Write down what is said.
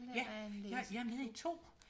Ja jeg er med i 2